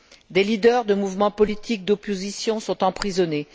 Des leaders de mouvements politiques d'opposition sont emprisonnés.